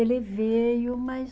Ele veio, mas